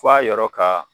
F'a yɔrɔ ka